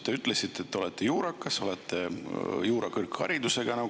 Te ütlesite, et te olete juurakas, olete juriidilise kõrgharidusega.